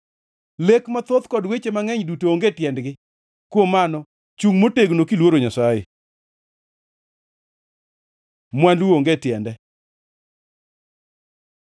Lek mathoth kod weche mangʼeny duto onge tiendgi. Kuom mano chungʼ motegno kiluoro Nyasaye.” Mwandu onge tiende